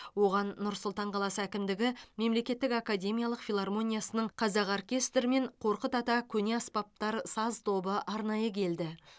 оған нұр сұлтан қаласы әкімдігі мемлекеттік академиялық филармониясының қазақ оркестрі мен қорқыт ата көне аспаптар саз тобы арнайы келді